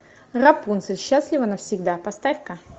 рапунцель счастлива навсегда поставь ка